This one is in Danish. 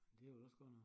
Det er vel også godt nok